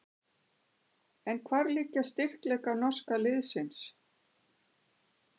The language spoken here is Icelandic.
En hvar liggja styrkleikar norska liðsins?